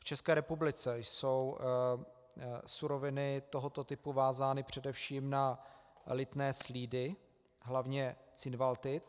V České republice jsou suroviny tohoto typu vázány především na lithné slídy, hlavně cinvaldit.